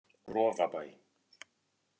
Rofabæ